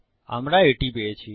আমরা এটি পেয়েছি